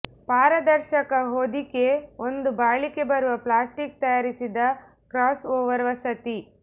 ಪಾರದರ್ಶಕ ಹೊದಿಕೆ ಒಂದು ಬಾಳಿಕೆ ಬರುವ ಪ್ಲಾಸ್ಟಿಕ್ ತಯಾರಿಸಿದ ಕ್ರಾಸ್ಒವರ್ ವಸತಿ